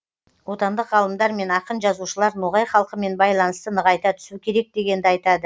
отандық ғалымдар мен ақын жазушылар ноғай халқымен байланысты нығайта түсу керек дегенді айтады